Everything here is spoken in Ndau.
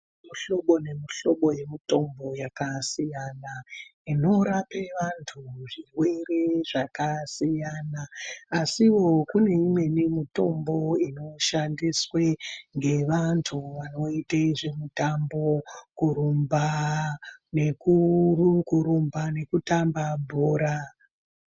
Muhlobo ne mu hlobo ye mutombo yakasiyana inorape vantu zvirwere zvakasiyana asiwo kune imweni mitombo iri kushandiswe nge vantu vanoite zve mutombo kurumba neku tamba bhora.